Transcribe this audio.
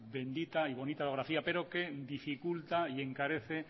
bendita y bonita orografía pero que dificulta y encarece